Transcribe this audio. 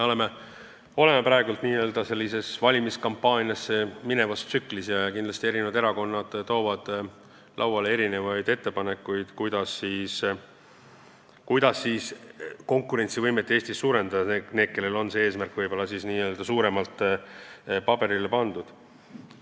Me oleme praegu valimiskampaaniasse minevas tsüklis ja kindlasti eri erakonnad tulevad välja oma ettepanekutega, kuidas Eestis konkurentsivõimet suurendada – need, kellel on see eesmärk suuremalt paberile pandud.